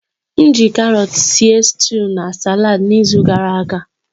M ji karọt sie nri stuú na saladi n'izu gara aga.